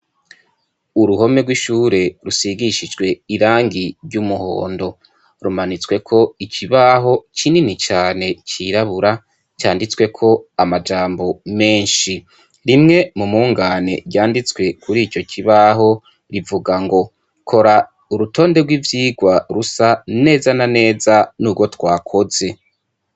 Uruhome rw'ishure rusigishijwe irangi ry'umuhondo, rumanitsweko ikibaho kinini cane cirabura canditsweko amajambo menshi, rimwe mu mungane ryanditswe kuri ico kibaho rivuga ngo kora urutonde rw'ivyigwa rusa neza na neza nurwo twakoze.